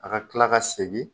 A ka kila ka segin